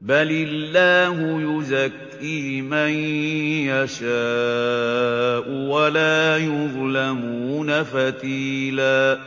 بَلِ اللَّهُ يُزَكِّي مَن يَشَاءُ وَلَا يُظْلَمُونَ فَتِيلًا